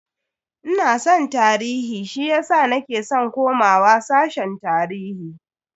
Ina san tarihi shiyasa nake san komawa sashen tarihi.